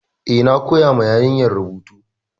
Eh, na koya ma yarinyar rubutu.